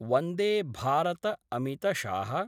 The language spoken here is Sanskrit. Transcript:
वंदे भारत अमितशाह